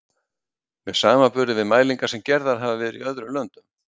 með samanburði við mælingar sem gerðar hafa verið í öðrum löndum.